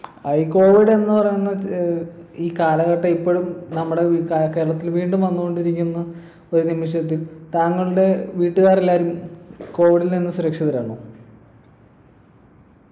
ഏർ ഈ covid എന്ന് പറയുന്ന ഏർ ഈ കാലഘട്ടം ഇപ്പോഴും നമ്മുടെ കേരളത്തിൽ വീണ്ടും വന്നുകൊണ്ടിരിക്കുന്ന ഒരു വിഷയത്തിൽ താങ്കളുടെ വീട്ടുകാരെല്ലാരും covid ൽനിന്ന് സുരക്ഷിതരാണോ